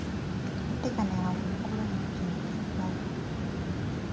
Atye ka neno winyo kulu mo ma ocungo i kin togo.